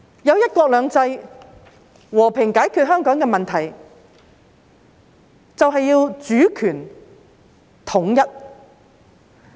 以"一國兩制"和平解決香港的問題，便要主權統一。